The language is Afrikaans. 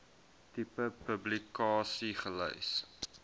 tipe publikasie gelys